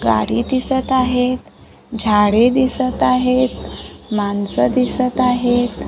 गाडी दिसत आहेत झाडे दिसत आहेत माणसं दिसत आहेत.